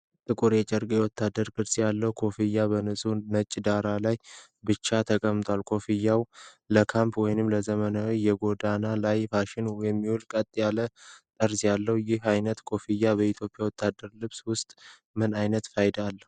ጥቁር የጨርቅ ወታደራዊ ቅርጽ ያለው ኮፍያ በንጹህ ነጭ ዳራ ላይ ብቻውን ተቀምጧል። ኮፍያው ለካምፕ ወይንም ለዘመናዊ የጎዳና ላይ ፋሽን የሚውል ቀጥ ያለ ጠርዝ አለው። ይህ ዓይነቱ ኮፍያ በኢትዮጵያ ወታደራዊ ልብስ ውስጥ ምን ዓይነት ፋይዳ አለው?